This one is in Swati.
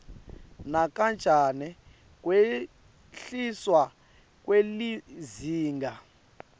nakancane kwehliswa kwelizinga